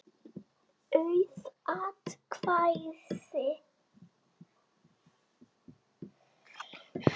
Auð atkvæði